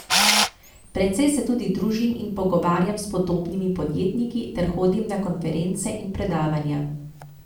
Precej se tudi družim in pogovarjam s podobnimi podjetniki ter hodim na konference in predavanja.